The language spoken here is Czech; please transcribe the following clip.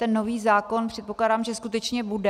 Ten nový zákon, předpokládám, že skutečně bude.